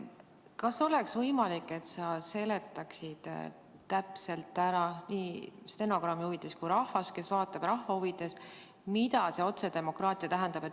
Kas oleks võimalik, et sa seletaksid täpselt ära nii stenogrammi huvides kui ka rahva huvides, kes vaatab, mida see otsedemokraatia tähendab.